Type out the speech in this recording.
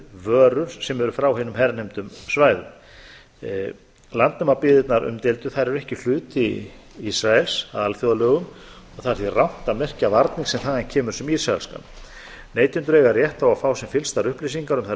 vörur sem eru frá hinum hernumdu svæðum landnemabyggðirnar umdeildu eru ekki hluti ísraels að alþjóðalögum og það er því rangt að merkja varning sem þaðan kemur sem ísraelskan neytendur eiga rétt á að fá sem fyllstar upplýsingar um þær